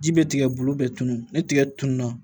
Ji bɛ tigɛ bulu bɛɛ tunu ni tigɛ tunna